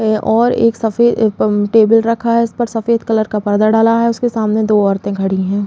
और एक सफेद टेबल रखा है। इसपे सफेद कलर का पर्दा डला है। उसके सामने दो औरते खड़ी हैं।